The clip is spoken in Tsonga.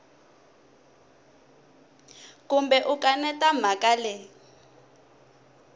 kumbe u kaneta mhaka leyi